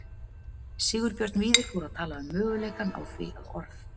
Sigurbjörn Víðir fór að tala um möguleikann á því að orð